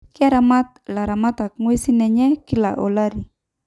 Keramat ilaramatak inguesin enye kila olari